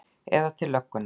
Eða til löggunnar?